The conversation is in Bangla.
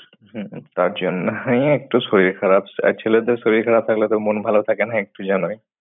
হুম তার জন্য। এই একটু শরীর খারাপ আর ছেলেদের শরীর খারাপ থাকলে তো মন ভাল থাকেনা একটু জানোই।